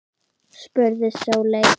spurði Sóley